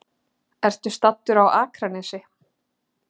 Ertu staddur á Akranesi?